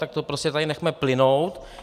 Tak to prostě tady nechme plynout.